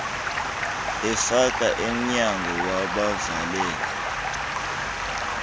efika emnyango wabavalela